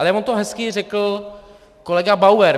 Ale on to hezky řekl kolega Bauer.